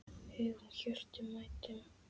huggun hjörtum mæddum